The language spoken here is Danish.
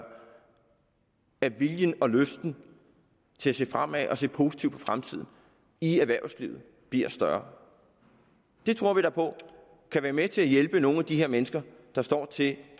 at viljen og lysten til at se fremad og se positivt på fremtiden i erhvervslivet bliver større det tror vi da på kan være med til at hjælpe nogle af de her mennesker der står til